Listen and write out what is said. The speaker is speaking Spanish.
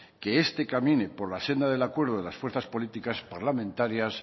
que este camine por la senda del acuerdo de las fuerzas políticas parlamentarias